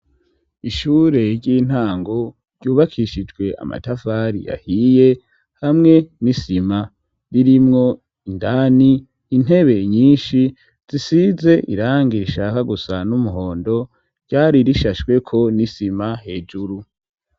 Ishure ry'intango ryubakishijwe amatafari yahiye hamwe nisima ririmwo indani intebe nyinshi zisize irangire ishaka gusa n'umuhondo ryari rishashweko nisima hejuru.